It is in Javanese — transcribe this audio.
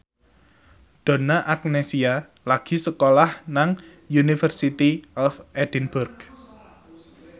Donna Agnesia lagi sekolah nang University of Edinburgh